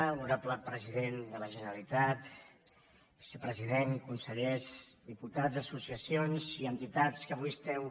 honorable president de la generalitat vicepresident consellers diputats associacions i entitats que avui esteu